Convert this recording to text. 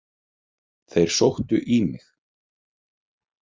Þeir sóttu í mig.